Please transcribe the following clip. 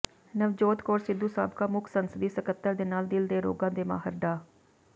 ਨਵਜੋਤ ਕੌਰ ਸਿੱਧੂ ਸਾਬਕਾ ਮੁੱਖ ਸੰਸਦੀ ਸਕੱਤਰ ਦੇ ਨਾਲ ਦਿਲ ਦੇ ਰੋਗਾਂ ਦੇ ਮਾਹਿਰ ਡਾ